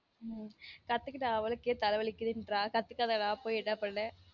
உம் கத்துக்கிட்ட அவளுக்கே தல வலிக்குதுன்றா கத்துக்காத நான் போய் என்ன பண்ண